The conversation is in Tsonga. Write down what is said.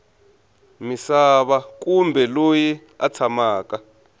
misava kumbe loyi a tshamaka